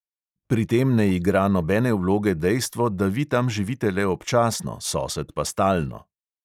Pri tem ne igra nobene vloge dejstvo, da vi tam živite le občasno, sosed pa stalno.